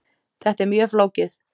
Þetta er mjög flókið.